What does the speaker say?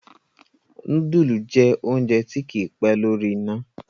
nudulu jẹ oúnjẹ tí kí pé lórí iná.